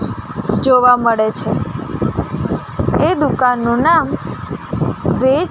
જોવા મળે છે એ દુકાનનું નામ વે--